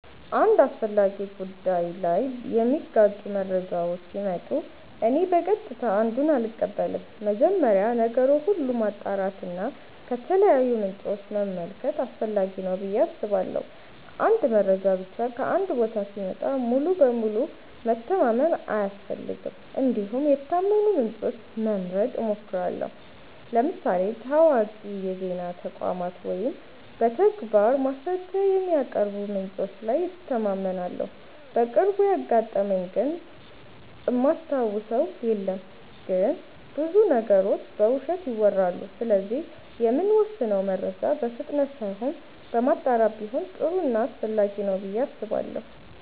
አንድ አስፈላጊ ጉዳይ ላይ የሚጋጩ መረጃዎች ሲመጡ እኔ በቀጥታ አንዱን አልቀበልም። መጀመሪያ ነገር ሁሉ ማጣራት እና ከተለያዩ ምንጮች መመልከት አስፈላጊ ነው ብዬ አስባለሁ። አንድ መረጃ ብቻ ከአንድ ቦታ ሲመጣ ሙሉ በሙሉ መተማመን አያስፈልግም እንዲሁም የታመኑ ምንጮችን መምረጥ እሞክራለሁ ለምሳሌ ታዋቂ የዜና ተቋማት ወይም በተግባር ማስረጃ የሚያቀርቡ ምንጮች ላይ እተማመናለሁ። በቅርቡ ያጋጠመኝ ግን እማስታውሰው የለም ግን ብዙ ነገሮች በውሸት ይወራሉ ስለዚህ የምንወስነው መረጃ በፍጥነት ሳይሆን በማጣራት ቢሆን ጥሩ ና አስፈላጊ ነው ብዬ አስባለሁ።